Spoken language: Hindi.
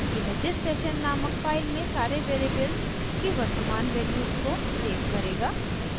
यह thissession नामक फाइल में सारे वेरिएबल्स की वर्तमान वैल्यूज़ को सेव करेगा